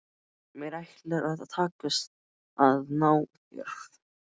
Mér ætlar að takast að ná þér.